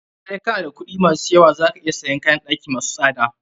Sai kana da kuɗi ma su yawa, za ka iya siyan kayn ɗaki masu tsada.